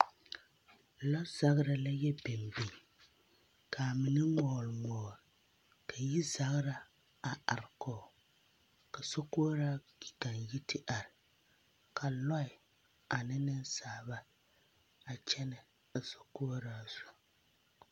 Lɔzagra la yɛ biŋ biŋ kaa mine ŋmɔɔl ŋmɔɔl ka yirzagera a are koge ka sokoɔraa pi kaa yiri te are Kaa lɔɛ ane nensaalba a kyɛnɛ a sokoɔraa zu.